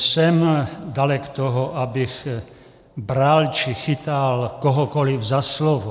Jsem dalek toho, abych bral či chytal kohokoliv za slovo.